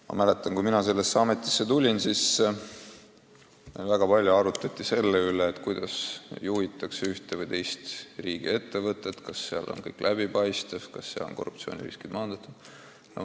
Ma mäletan, et kui mina sellesse ametisse tulin, siis arutati väga palju selle üle, kuidas juhitakse ühte või teist riigiettevõtet, kas kõik on läbipaistev, kas korruptsioonirisk on maandatud.